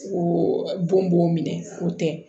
O don b'o minɛ o tɛ